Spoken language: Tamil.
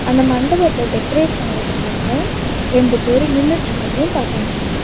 அந்த மண்டபத்த டெக்கரேட் பண்றதுக்காக ரெண்டு பேரு நின்னுட்ருக்கர்தயு பாக்க முடியுது.